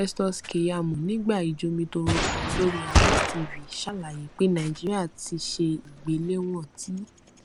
festus keyamo nígbà ìjomitoro kan lórí arise tv ṣalaye pe naijiria ti ṣe igbelewọn ti